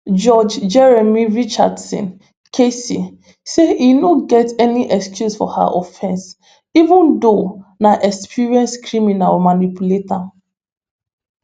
judge jeremy richardson kc say e no get any excuse for her offence even though na experienced criminal manipulate am